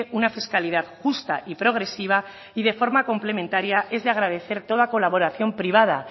una fiscalidad justa y progresiva y de forma complementaria es de agradecer toda colaboración privada